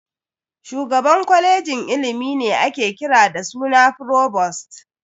Shugaban kwalejin ilimi ne ake kira da suna "Frovost".